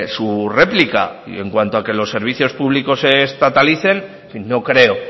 su réplica y en cuanto a que los servicios públicos se estatalicen no creo